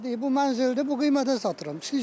Elə deyir bu mənzildir, bu qiymətə satıram.